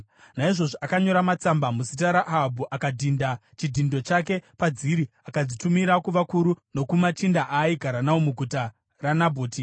Naizvozvo akanyora matsamba muzita raAhabhu, akadhinda chidhindo chake padziri, akadzitumira kuvakuru nokumachinda aaigara nawo muguta raNabhoti.